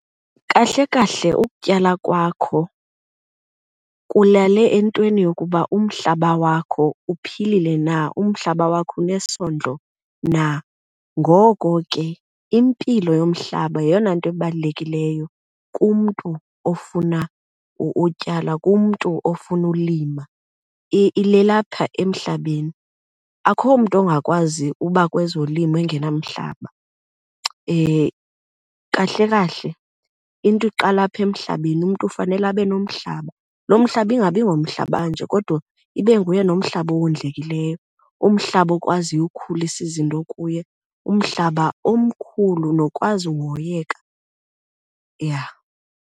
Kahle kahle ukutyala kwakho kulale entweni yokuba umhlaba wakho uphilile na, umhlaba wakho unesondlo na. Ngoko ke impilo yomhlaba yeyona nto ibalulekileyo kumntu ofuna utyala, kumntu ofuna ulima, ileli apha emhlabeni. Akho mntu ongakwazi uba kwezolimo engenamhlaba. Kahle kahle into iqala apha emhlabeni, umntu ufanele abe nomhlaba. Loo mhlaba ingabi ngomhlaba nje kodwa ibe nguye nomhlaba owondlekileyo, umhlaba okwaziyo ukhulisa izinto kuye, umhlaba omkhulu nokwazi uhoyeka, yha.